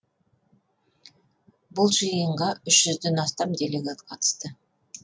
бұл жиынға үш жүзден астам делегат қатысты